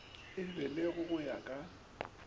e begilwe go ya ka